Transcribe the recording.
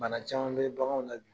Bana caman bɛ baganw la bi,